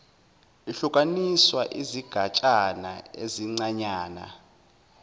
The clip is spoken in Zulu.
ihlukaniswa izigatshana ezincanyana